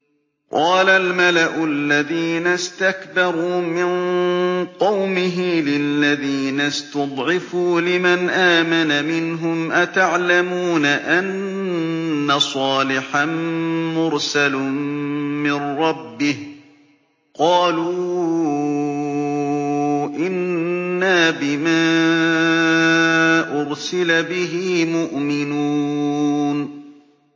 قَالَ الْمَلَأُ الَّذِينَ اسْتَكْبَرُوا مِن قَوْمِهِ لِلَّذِينَ اسْتُضْعِفُوا لِمَنْ آمَنَ مِنْهُمْ أَتَعْلَمُونَ أَنَّ صَالِحًا مُّرْسَلٌ مِّن رَّبِّهِ ۚ قَالُوا إِنَّا بِمَا أُرْسِلَ بِهِ مُؤْمِنُونَ